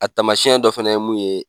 A taamasiyɛn dɔ fana ye mun ye